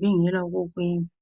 bengela okokwenza.